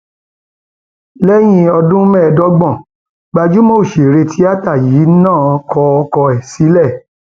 lẹyìn ọdún mẹẹẹdọgbọn gbajúmọ òṣèré tíátà yìí náà kọ ọkọ ẹ sílẹ